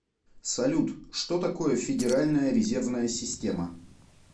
салют что такое федеральная резервная система